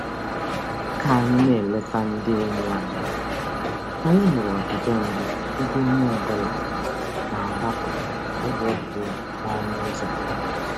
Ka anyị na-eleta ndị enyi anyị, anyị hụrụ ọdịbendị ebe onye ọbụla na-agbapụ akpụkpọ ụkwụ ya n'ọnụ ụzọ.